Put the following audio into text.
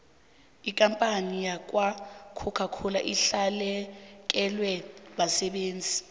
ikampani yakwacoca cola ilahlekelwe basebenzi